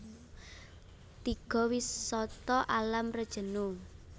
Tiga Wisata Alam Rejenu